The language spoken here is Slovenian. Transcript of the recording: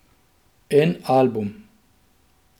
En album.